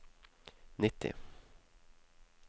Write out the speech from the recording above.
nitti